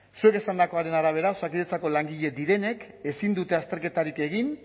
zuek esandakoaren arabera osakidetzako langile direnek ezin dute azterketarik egin